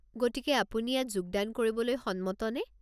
গতিকে আপুনি ইয়াত যোগদান কৰিবলৈ সন্মত নে?